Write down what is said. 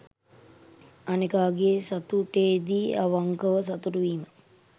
අනෙකාගේ සතුටේදී අවංකව සතුටු වීම